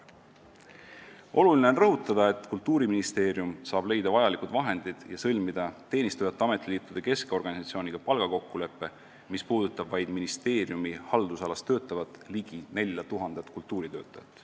Oluline on rõhutada, et Kultuuriministeerium saab leida vajalikud vahendid ja sõlmida teenistujate ametiliitude keskorganisatsiooniga palgakokkuleppe, mis puudutab vaid ministeeriumi haldusalas töötavat ligi 4000 kultuuritöötajat.